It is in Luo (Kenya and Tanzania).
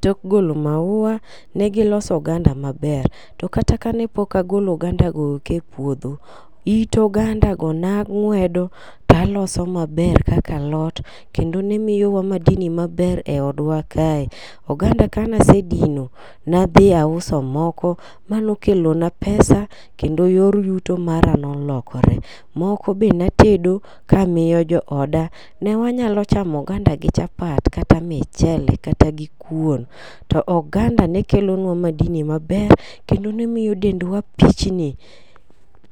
tok golo mauwa ne giloso oganda maber. to kata kane pok agolo oganda go eko e puodho, to it ogandago ne ang'wedo to aloso maber kaka alot kendo ne miyowa madini maber e odwa kae. Oganda kane asedino ne adhi auso moko mane okelona pesa kendo yor yuto mara ne olokore. Moko be ne atedo ka amiyo jo oda. Ne wanyalo chamo oganda gi chapat gi kata michele kata gikuon. To oganda ne kelo nwa madini maber kendo ne miyo dendwa pichni.